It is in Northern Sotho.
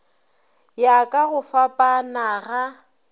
ya ka go fapana ga